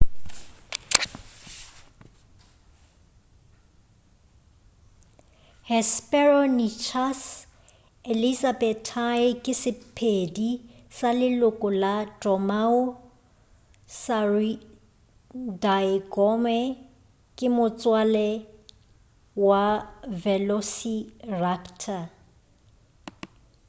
hesperonychus elizabethae ke sephedi sa leloko la dromaeosauridaegomme ke motswala wa velociraptor